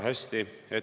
Aitäh küsimuse eest!